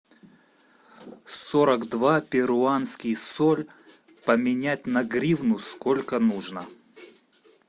сорок два перуанский соль поменять на гривну сколько нужно